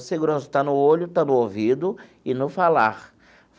A segurança está no olho, está no ouvido e no falar.